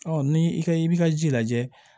ni i ka i bi ka ji lajɛ